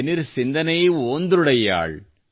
ಎನಿರ್ ಸಿಂದನೈ ಓಂದ್ರುಡಯ್ಯಾಳ್